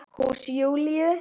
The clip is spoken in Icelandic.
Hús Júlíu.